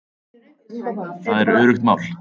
Það er öruggt mál